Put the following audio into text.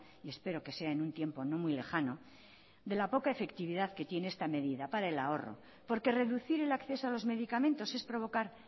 y espero que sea en un tiempo no muy lejano de la poca efectividad que tiene esta medida para el ahorro porque reducir el acceso a los medicamentos es provocar